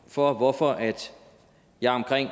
for hvorfor jeg omkring